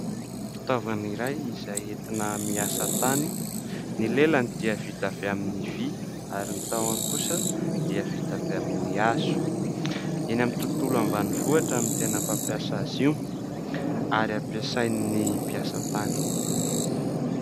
Fitaovana iray izay entina miasa tany. Ny lelany dia vita avy amin'ny vỳ ary ny tahony kosa dia vita avy amin'ny hazo. Eny amin'ny tontolo ambanivohitra no tena fampiasa azy io ary ampiasain'ny mpiasa tany.